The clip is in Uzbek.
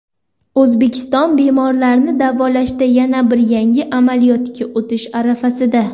O‘zbekiston bemorlarni davolashda yana bir yangi amaliyotga o‘tish arafasida.